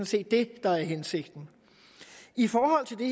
set det der er hensigten i forhold til det